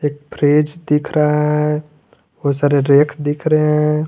Fridge दिख रहा है बहुत सारे रैक दिख रहे हैं।